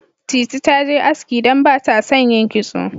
Titi ta je aski don ba ta son yin kitso.